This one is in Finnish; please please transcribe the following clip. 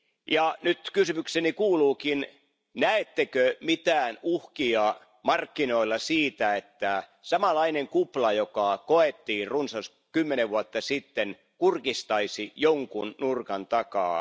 Ja nyt kysymykseni kuuluukin Näettekö mitään uhkia markkinoilla siitä, että samanlainen kupla, joka koettiin runsas kymmenen vuotta sitten, kurkistaisi jonkun nurkan takaa?